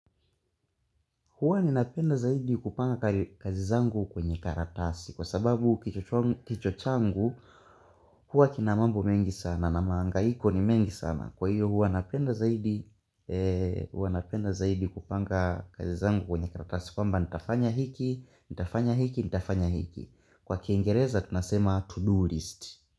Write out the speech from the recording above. Huwa ni napenda zaidi kupanga kazi zangu kwenye karatasi kwa sababu kichwa changu huwa kinamambo mengi sana na mahangahiko ni mengi sana kwa hiyo hua napenda zaidi kupanga kazi zangu kwenye karatasi kwa mba nitafanya hiki nitafanya hiki nitafanya hiki kwa kiengereza tunasema to do list.